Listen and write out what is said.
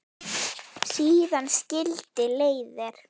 Síðan skildi leiðir.